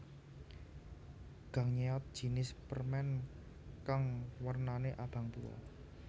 Gangnyeot jinis permen kang wernane abang tuwa